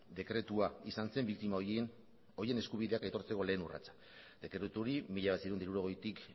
dekretua izan zen biktima horien eskubideak aitortzeko lehen urratsak dekretu hori mila bederatziehun eta hirurogeitik